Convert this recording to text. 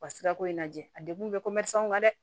Ka sirako in lajɛ a degun bɛ kan dɛ